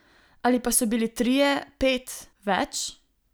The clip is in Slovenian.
Ali pa so bili trije, pet, več?